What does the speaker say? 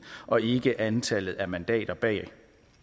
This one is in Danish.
og ikke antallet af mandater bag